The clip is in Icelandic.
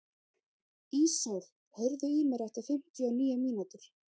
Ísól, heyrðu í mér eftir fimmtíu og níu mínútur.